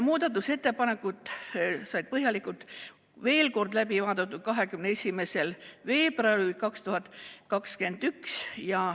Muudatusettepanekud said põhjalikult veel kord läbi arutatud 21. veebruaril.